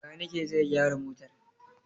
Bakanike zai gyara motar.